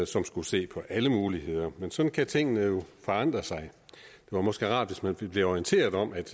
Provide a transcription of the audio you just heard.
som skulle se på alle muligheder men sådan kan tingene jo forandre sig det var måske rart hvis man kunne blive orienteret om at